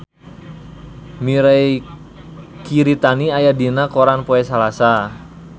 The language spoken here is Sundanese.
Mirei Kiritani aya dina koran poe Salasa